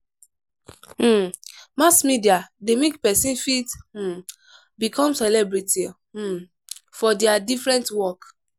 um Mass media de make persin fit um become celebrity um for their different work